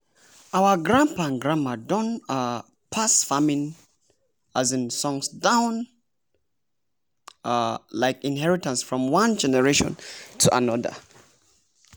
our grandpapa and grandmama don um pass farming um songs down um like inherintance from one generation go another.